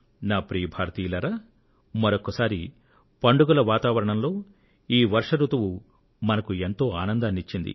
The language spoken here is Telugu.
ప్రియమైన నా దేశ వాసులారా మరొక్కసారి పండుగల వాతావరణంతో ఈ వర్ష రుతువు మనకు ఎంతో ఆనందాన్ని ఇచ్చింది